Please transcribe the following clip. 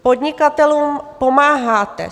Podnikatelům pomáháte.